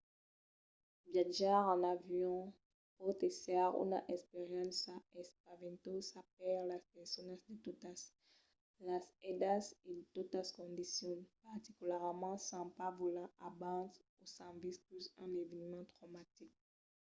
viatjar en avion pòt èsser una experiéncia espaventosa per las personas de totas las edats e de totas condicions particularament s’an pas volat abans o s’an viscut un eveniment traumatic